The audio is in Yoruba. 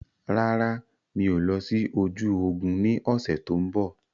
Rárá, mi ò lọ sí ojú ogún ni ọ̀sẹ̀ tòun bọ̀.